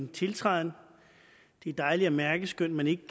min tiltræden det er dejligt at mærke skønt man ikke